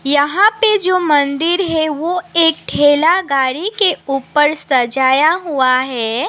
यहां पे जो मंदिर है वो एक ठेला गाड़ी के उपर सजाया हुआ है।